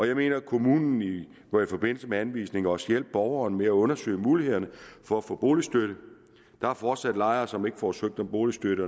jeg mener at kommunen i forbindelse med anvisning også må hjælpe borgeren med at undersøge mulighederne for at få boligstøtte der er fortsat lejere som ikke får søgt om boligstøtte